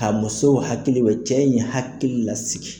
K'a musow hakilibɔ cɛ in ye hakili lasigi.